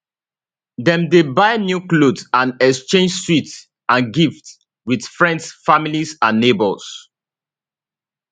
dem dey buy new clothes and exchange sweets and gifts wit friends families and neighbours